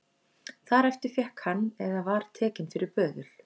Þar eftir fékk hann eða var tekinn fyrir böðul